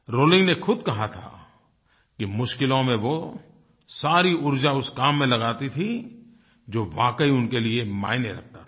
rolling ने खुद कहा था कि मुश्किलों में वो सारी ऊर्जा उस काम में लगाती थीं जो वाकई उनके लिए मायने रखता था